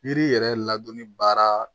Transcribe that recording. Yiri yɛrɛ ladonni baara